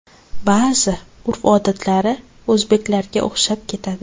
Ba’zi urf-odatlari o‘zbeklarga o‘xshab ketadi.